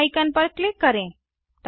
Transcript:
save icon पर click करें